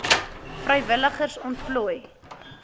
vrywilligers ontplooi